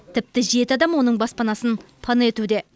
тіпті жеті адам оның баспанасын пана етуде